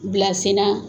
Bila sen na